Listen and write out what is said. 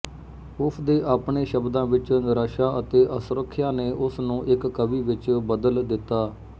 ਉਸਦੇ ਆਪਣੇ ਸ਼ਬਦਾਂ ਵਿੱਚ ਨਿਰਾਸ਼ਾ ਅਤੇ ਅਸੁਰੱਖਿਆ ਨੇ ਉਸਨੂੰ ਇੱਕ ਕਵੀ ਵਿੱਚ ਬਦਲ ਦਿੱਤਾ